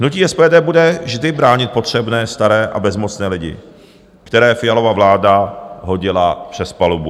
Hnutí SPD bude vždy bránit potřebné staré a bezmocné lidi, které Fialova vláda hodila přes palubu.